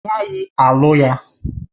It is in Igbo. Ị gaghị alụ ya!